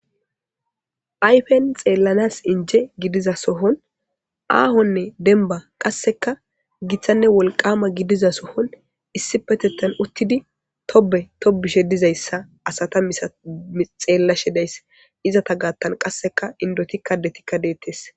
Ayfen xeelanas inje gidiza sohon aahonne dembba qasssekka gittanne wolqaama gidiza sohon issippetethan uttidi tobe tobishe dizay hessa asata misay xeelashe days. Ezata gaatan qasse endotikka addetikka deetees.